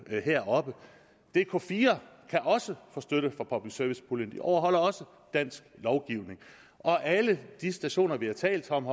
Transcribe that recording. heroppe dk4 kan også få støtte fra public service puljen de overholder også dansk lovgivning og alle de stationer vi har talt om